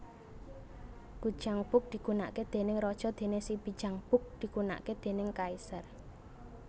Gujangbok digunakake déning raja dene sibijangbok digunakake déning kaisar